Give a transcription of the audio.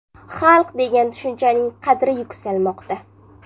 Xalq degan tushunchaning qadri yuksalmoqda.